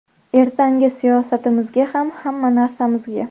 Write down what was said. Ertangi siyosatimizga ham, hamma narsamizga.